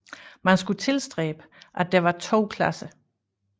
Man skulle tilstræbe at der var to klasser